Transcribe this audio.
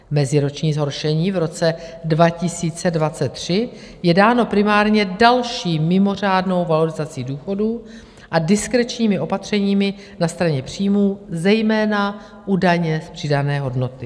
Meziroční zhoršení v roce 2023 je dáno primárně další mimořádnou valorizací důchodů a diskrečními opatřeními na straně příjmů, zejména u daně z přidané hodnoty."